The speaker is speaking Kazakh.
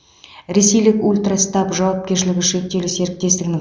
ресейлік ультрастаб жауапкершілігі шектеулі серіктестігінің